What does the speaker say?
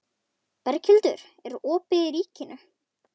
Berghildur, er opið í Ríkinu?